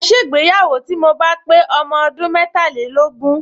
Màá ṣègbéyàwó tí mo bá pé ọmọ ọdún metàlélógún